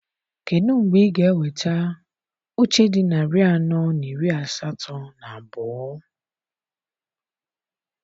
Kedụ mgbe ị ga-eweta oche dị narị anọ na iri asatọ na abụọ?